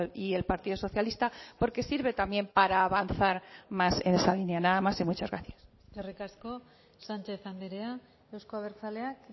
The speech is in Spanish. y el partido socialista porque sirve también para avanzar más en esa línea nada más y muchas gracias eskerrik asko sánchez andrea euzko abertzaleak